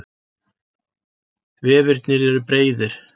Vefirnir eru breiðir.